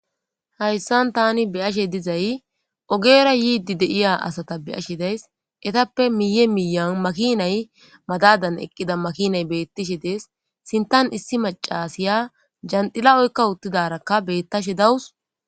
hayssan tani beyashe dizay ogera yiidi deiya asata beyashe days etappe miye miyan makinay madadan eqqida makinay beettishe dees sintan issi macasiya jandila7oykka uttidarakka bettashe dawus